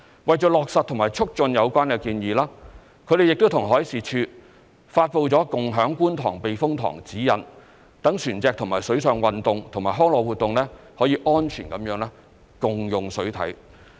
為落實和促進有關建議，他們亦與海事處發布了《共享觀塘避風塘指引》，讓船隻與水上運動及康樂活動安全地共用水體。